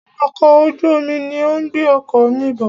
Ọkọ̀ ojú omi ní o ń gbé ọkọ̀ mí bọ̀.